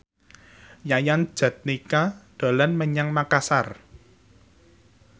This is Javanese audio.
Yayan Jatnika dolan menyang Makasar